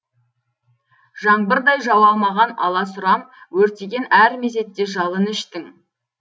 жаңбырдай жауа алмаған аласұрам өртеген әр мезетте жалыны іштің